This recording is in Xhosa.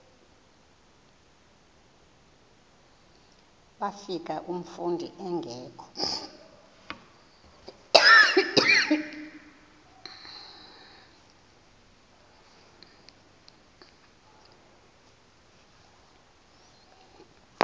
bafika umfundisi engekho